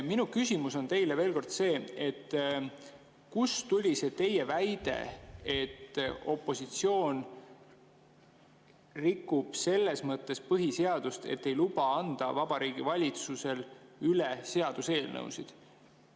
Minu küsimus on teile veel kord see, kust tuli see teie väide, et opositsioon rikub selles mõttes põhiseadust, et ei luba Vabariigi Valitsusel üle anda seaduseelnõusid.